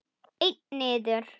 Einn niður?